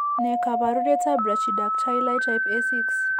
Ne kaabarunetap Brachydactyly type A6?